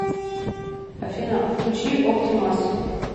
афина включи опти мас